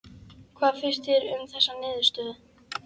Hvað finnst þér um þessa niðurstöðu?